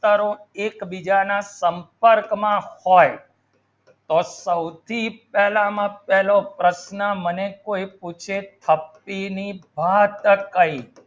તારો એકબીજાના સંપર્કમાં હોય તો સૌથી પહેલામાં પહેલો પ્રશ્ન મને કોઈ પૂછે થપ્પી વાત કહી